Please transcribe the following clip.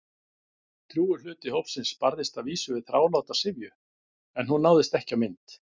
Drjúgur hluti hópsins barðist að vísu við þráláta syfju- en hún náðist ekki á mynd.